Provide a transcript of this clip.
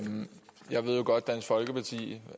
dansk folkeparti